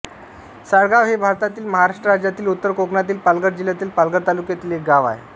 साळगाव हे भारतातील महाराष्ट्र राज्यातील उत्तर कोकणातील पालघर जिल्ह्यातील पालघर तालुक्यातील एक गाव आहे